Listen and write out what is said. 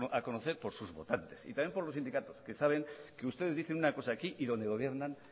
a conocer por sus votantes y también por los sindicatos que saben que ustedes dicen una cosa aquí y donde gobiernan